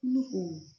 Ne ko